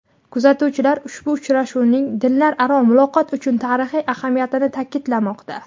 Kuzatuvchilar ushbu uchrashuvning dinlararo muloqot uchun tarixiy ahamiyatini ta’kidlamoqda.